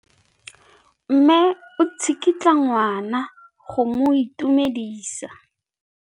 Mme o tsikitla ngwana go mo itumedisa.